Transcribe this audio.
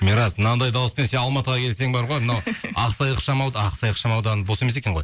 мирас мынандай дауыспен сен алматыға келсең бар ғой мынау ақсай ықшам ауданы ақсай ықшам ауданы бос емес екен ғой